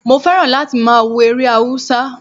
Mo fẹ́ràn láti máa wo eré Haúsá